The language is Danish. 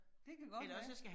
Det kan godt være